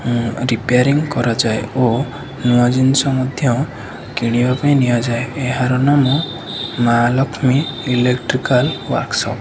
ଉଁ ରିପେୟାରିଂ କରାଯାଏ ଓ ନୂଆ ଜିନିଷ ମଧ୍ୟ କିଣିବା ପାଇଁ ନିଆଯାଏ ଏହାର ନାମ ମା ଲକ୍ଷ୍ମୀ ଇଲେକ୍ଟ୍ରିକାଲ ୱର୍କସପ୍ ।